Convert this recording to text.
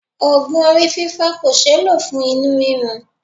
Ogun orí fifo kò sé lo fún inú rirun.